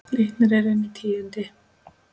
Glitnir er inn tíundi